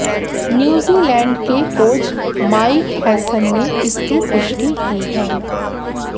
New Zealand के coach Mike Hesson ने इसकी पुष्टि की है